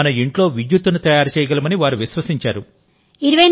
మన ఇంట్లో విద్యుత్తును తయారు చేయగలమని వారు విశ్వసించారు